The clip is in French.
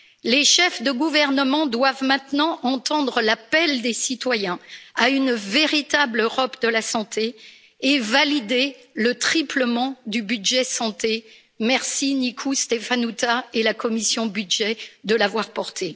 Les chefs de gouvernement doivent maintenant entendre l'appel des citoyens à une véritable Europe de la santé et valider le triplement du budget santé merci à Nicolae Ştefănuță et à la commission des budgets de l'avoir porté.